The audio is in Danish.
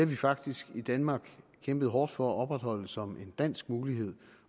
vi faktisk i danmark kæmpet hårdt for at opretholde som en dansk mulighed